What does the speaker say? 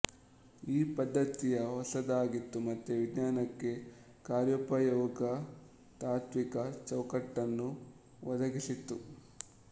ಈ ಪದ್ಧತಿಯ ಹೊಸದಾಗಿತ್ತು ಮತ್ತು ವಿಜ್ಞಾನಕ್ಕೆ ಕಾರ್ಯೋಪಯೋಗಿ ತಾತ್ವಿಕ ಚೌಕಟ್ಟನ್ನು ಒದಗಿಸಿತು